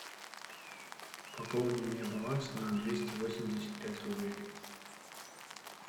пополни мне баланс на двести восемьдесят пять рублей